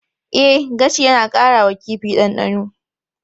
E, gashi yana ƙara wa kifi ɗanɗano.